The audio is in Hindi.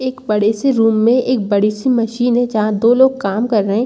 एक बड़े से रूम में एक बड़ी सी मशीन है जहां दो लोग काम कर रहे हैं।